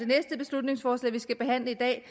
beslutningsforslag vi skal behandle i dag